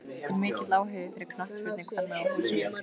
Er mikill áhugi fyrir knattspyrnu kvenna á Húsavík?